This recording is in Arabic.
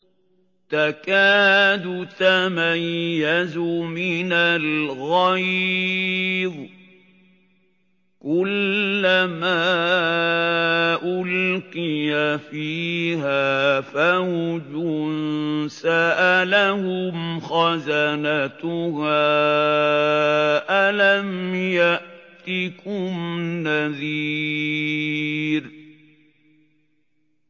تَكَادُ تَمَيَّزُ مِنَ الْغَيْظِ ۖ كُلَّمَا أُلْقِيَ فِيهَا فَوْجٌ سَأَلَهُمْ خَزَنَتُهَا أَلَمْ يَأْتِكُمْ نَذِيرٌ